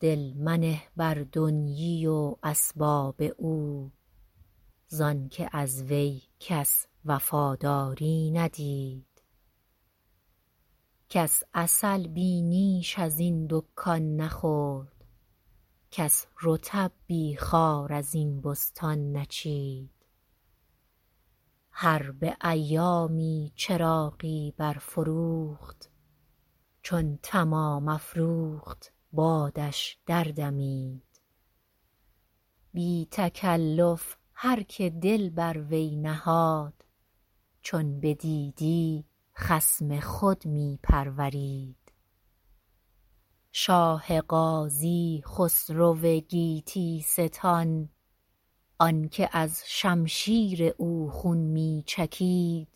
دل منه بر دنیی و اسباب او زآن که از وی کس وفاداری ندید کس عسل بی نیش از این دکان نخورد کس رطب بی خار از این بستان نچید هربه ایامی چراغی برفروخت چون تمام افروخت بادش دردمید بی تکلف هرکه دل بر وی نهاد چون بدیدی خصم خود می پرورید شاه غازی خسرو گیتی ستان آن که از شمشیر او خون می چکید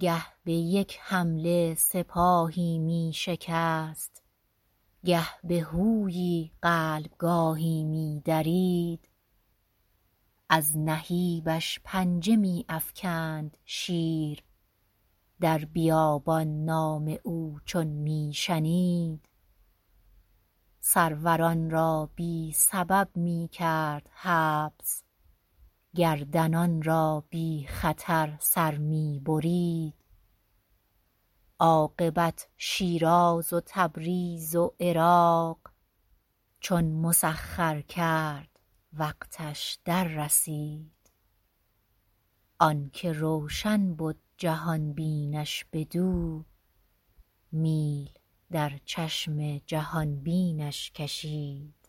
گه به یک حمله سپاهی می شکست گه به هویی قلبه گاهی می درید از نهیبش پنجه می افکند شیر در بیابان نام او چون می شنید سروران را بی سبب می کرد حبس گردنان را بی خطر سر می برید عاقبت شیراز و تبریز و عراق چون مسخر کرد وقتش دررسید آن که روشن بد جهان بینش بدو میل در چشم جهان بینش کشید